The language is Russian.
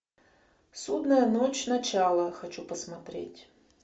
судная ночь начало хочу посмотреть